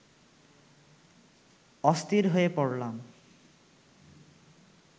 অস্থির হয়ে পড়লাম